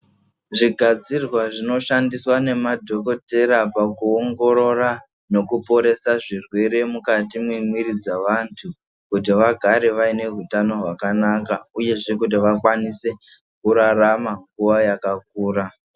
Zvigadzirwa zvinoshandiswa nemadhokodhera pakuongorora nekuporese zvirwere mukati memwiri dzavanthu kuti vagare vaine utano hwakanaka uyezve kuti vakwanise kurarama nguwa yakakura.